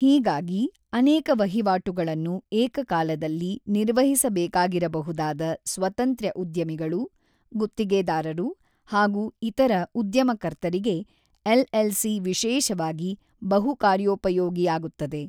ಹೀಗಾಗಿ ಅನೇಕ ವಹಿವಾಟುಗಳನ್ನು ಏಕಕಾಲದಲ್ಲಿ ನಿರ್ವಹಿಸಬೇಕಾಗಿರಬಹುದಾದ ಸ್ವತಂತ್ರ್ಯ ಉದ್ಯಮಿಗಳು, ಗುತ್ತಿಗೆದಾರರು ಹಾಗೂ ಇತರ ಉದ್ಯಮಕರ್ತರಿಗೆ ಎಲ್‌ಎಲ್‌ಸಿ ವಿಶೇಷವಾಗಿ ಬಹುಕಾರ್ಯೋಪಯೋಗಿಯಾಗುತ್ತದೆ.